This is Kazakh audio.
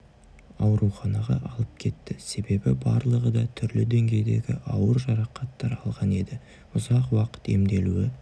ауруханаға алып кетті себебі барлығы да түрлі деңгейдегі ауыр жарақаттар алған енді ұзақ уақыт емделуі